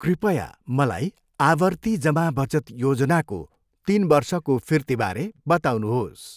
कृपया मलाई आवर्ती जमा बचत योजनाको तिन वर्षको फिर्तीबारे बताउनुहोस्।